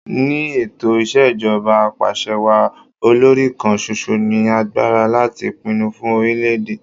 Ni ètò Ìṣèjọba Apàṣẹwàá, olòrì kan ṣoṣo ní agbára láti pinnu fun orílẹ̀ èdè.